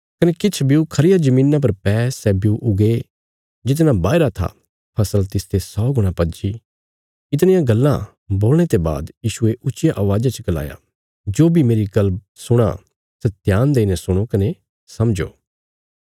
कने किछ ब्यू खरिया धरतिया पर पै सै ब्यू उगे जितना बाहीरा था फसल तिसते सौ गुणा पज्जी इतणियां गल्लां बोलणे ते बाद यीशुये ऊच्चिया अवाज़ा च गलाया जो बी मेरी गल्ल सुणां सै ध्यान देईने सुणो कने समझो